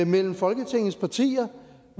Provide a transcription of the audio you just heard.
mellem folketingets partier